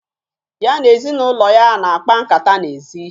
Ya na ezinụlọ ya na-akpa nkata n'ezi